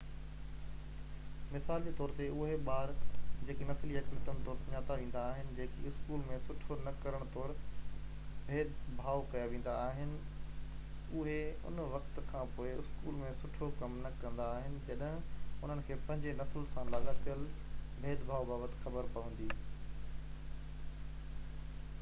مثال جي طور تي اهي ٻار جيڪي نسلي اقليتن طور سڃاتا ويندا آهن جيڪي اسڪول ۾ سٺو نه ڪرڻ طور ڀيد ڀاءُ ڪيا ويندا آهن اهي ان وقت کان پوءِ اسڪول ۾ سٺو ڪم نه ڪندا آهن جڏهن انهن کي پنهنجي نسل سان لاڳاپيل ڀيد ڀاءُ بابت خبر پوندي